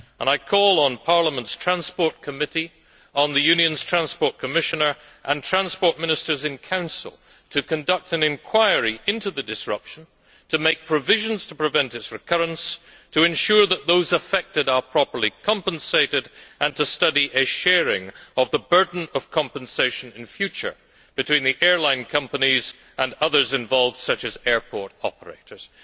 I call on Parliament's Committee on Transport and Tourism, the Union's Transport Commissioner and transport ministers in the Council to conduct an inquiry into the disruption, to make provisions to prevent its recurrence, to ensure that those affected are properly compensated, and to study a sharing of the burden of compensation in future between the airline companies and others involved, such as airport operators.